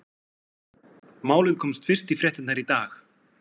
Málið komst fyrst í fréttirnar í dag.